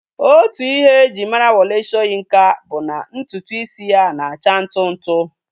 Otu Ihe e ji mara Wole Soyinka bụ na ntutu isi ya na-acha ntụ ntụ